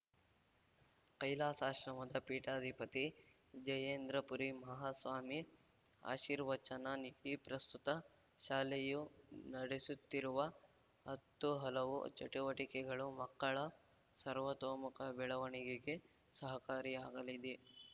ಕೈಲಾಸಾಶ್ರಮದ ಪೀಠಾಧಿಪತಿ ಜಯೇಂದ್ರಪುರಿ ಮಹಾಸ್ವಾಮಿ ಆಶೀರ್ವಚನ ನೀಡಿ ಪ್ರಸ್ತುತ ಶಾಲೆಯು ನಡೆಸುತ್ತಿರುವ ಹತ್ತು ಹಲವು ಚಟುವಟಿಕೆಗಳು ಮಕ್ಕಳ ಸರ್ವತೋಮುಖ ಬೆಳವಣಿಗೆಗೆ ಸಹಕಾರಿಯಾಗಲಿದೆ